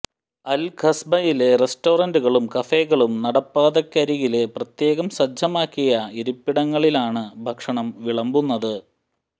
അല് ഖസ്ബയിലെ റെസ്റ്റോറന്റുകളും കഫേകളും നടപ്പാതക്കരികില് പ്രത്യേകം സജ്ജമാക്കിയ ഇരിപ്പിടങ്ങളിലാണ് ഭക്ഷണം വിളമ്പുന്നത്